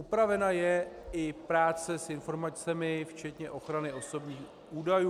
Upravena je i práce s informacemi včetně ochrany osobních údajů.